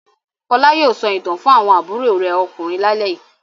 Fọlá yóò sọ ìtàn fún àwọn àbúrò rẹ̀ ọkùnrin lálẹ́ yìí.a